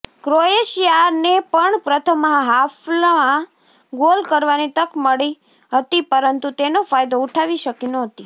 ક્રોએશિયાને પણ પ્રથમ હાફમાં ગોલ કરવાની તક મળી હતી પરંતુ તેનો ફાયદો ઉઠાવી શકી નહોતી